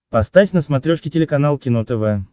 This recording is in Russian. поставь на смотрешке телеканал кино тв